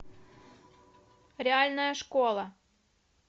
реальная школа